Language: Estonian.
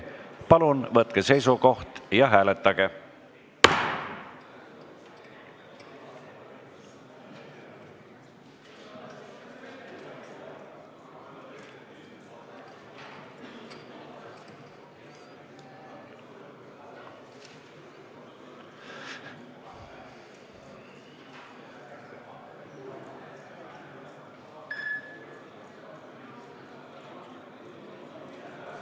Palun võtke seisukoht ja hääletage!